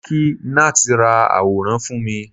mo ni kí Nath ra aworan fún mi